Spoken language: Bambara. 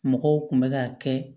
Mɔgɔw kun bɛ k'a kɛ